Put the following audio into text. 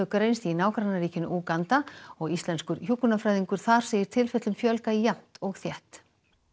greinst í nágrannaríkinu Úganda og Íslenskur hjúkrunarfræðingur þar segir tilfellum fjölga jafnt og þétt